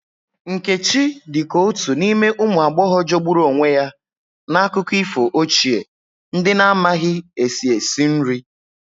Nkechi dị ka otu n'ime ụmụ agbọghọ jọgburu onwe ya n'akụkọ ifo ochie, ndị na-amaghị esi esi nri.